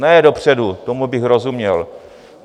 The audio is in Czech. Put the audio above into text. Ne dopředu, tomu bych rozuměl.